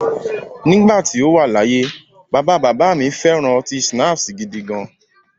Nígbà tí o wà láyé, bàbá bàbá à mi fẹ̀ran ọtí schnapps gidigan.